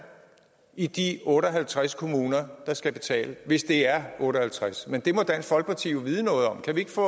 i de otte og halvtreds kommuner der skal betale hvis det er otte og halvtreds men det må dansk folkeparti jo vide noget om kan vi ikke få